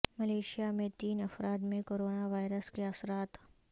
Malaysia میں تین افراد میں کرونا وائرس کے اثرات